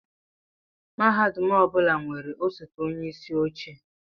Mahadum ọ bụla nwere osote onyeisi oche